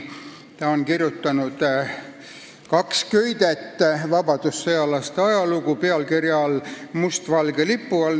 Ta on kirjutanud kaks köidet vabadussõjalaste ajalugu pealkirja all "Must-valge lipu all".